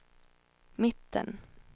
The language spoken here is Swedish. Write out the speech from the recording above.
mitten